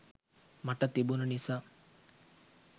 මට තිබුණ නිසා